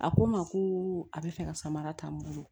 A ko n ma ko a bɛ fɛ ka samara ta n bolo